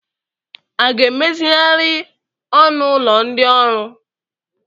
A ga-emezigharị ọnụ ụlọ ndị ọrụ?